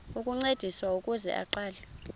ukuncediswa ukuze aqale